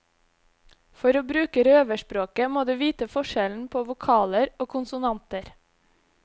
For å bruke røverspråket må du vite forskjellen på vokaler og konsonanter.